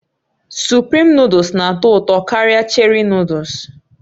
Suprim Nụ́dúls na-atọ ụtọ karịa Cherị Nụ́dúls